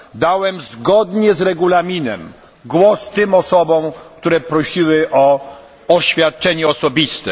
Dałem zgodnie z Regulaminem głos tym osobom, które prosiły o oświadczenie osobiste.